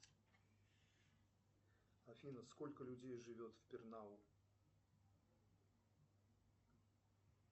афина сколько людей живет в пернау